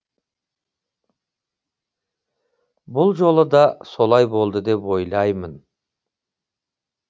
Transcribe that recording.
бұл жолы да солай болды деп ойлаймын